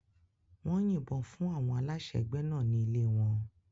Wọ́n yìnbọn fún àwọn aláṣẹ ẹgbẹ́ náà ní ilé wọn.